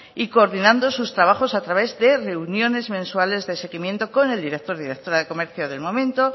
y coordinando sus trabajos a través de reuniones mensuales de seguimiento con el director o directora de comercio del momento